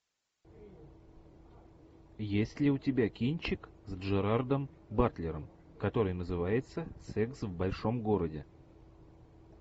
есть ли у тебя кинчик с джерардом батлером который называется секс в большом городе